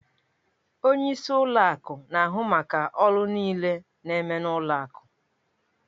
Onyeisi ụlọ akụ na-ahụ maka ọrụ niile na-eme n'ụlọ akụ